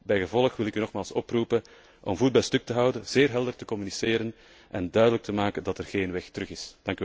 Bijgevolg wil ik u nogmaals oproepen om voet bij stuk te houden, zeer helder te communiceren en duidelijk te maken dat er geen weg terug is.